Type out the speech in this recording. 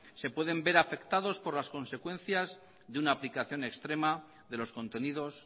se pueden ver afectados por las consecuencias de una aplicación extrema de los contenidos